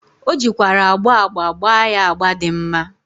O jikwara agba agba gba ya agba di mma.